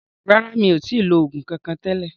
Rárá, mi ò tí lo oògùn kankan tẹ́lẹ̀